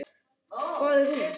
Hvað er hún?